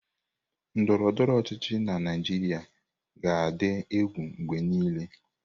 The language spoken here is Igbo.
Ndọrọ ndọrọ ọchịchị na Naịjirịa ga-adị egwu mgbe niile.